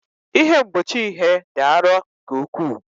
Ihe mgbochi ihe dị arọ nke ukwuu.